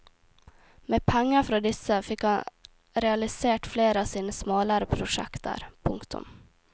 Med penger fra disse fikk han realisert flere av sine smalere prosjekter. punktum